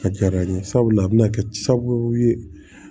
A diyara n ye sabula a bɛna kɛ sababu ye